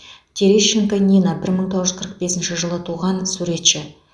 терещенко нина бір мың тоғыз жүз қырық бесінші жылы туған суретші